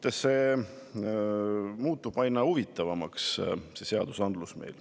Teate, see seadusandlus muutub meil aina huvitavamaks.